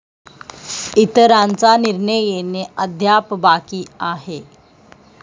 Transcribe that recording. इतरांचा निर्णय येणे अद्याप बाकी आहे.